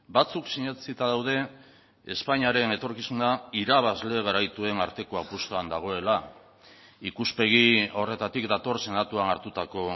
batzuk sinetsita daude espainiaren etorkizuna irabazle garaituen arteko apustuan dagoela ikuspegi horretatik dator senatuan hartutako